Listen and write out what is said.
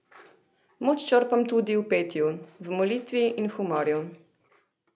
Moč črpam tudi v petju, v molitvi in humorju.